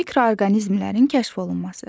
Mikroorqanizmlərin kəşf olunması.